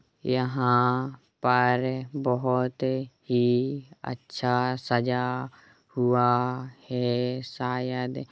यहाँ पर बोहत ही अच्छा सजा हुआ है शायद--